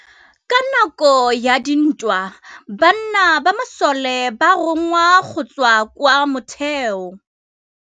Ka nakô ya dintwa banna ba masole ba rongwa go tswa kwa mothêô.